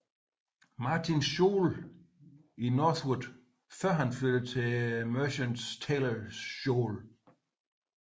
Martins school i Northwood før han flyttede til Merchants Taylors School